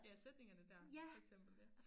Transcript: Ja sætningerne dér for eksempel ja